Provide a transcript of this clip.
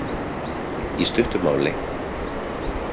Í stuttu máli.